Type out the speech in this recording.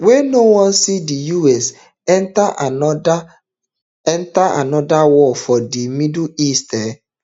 wey no wan see di us enta anoda enta anoda war for di middle east um